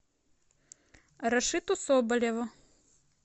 рашиту соболеву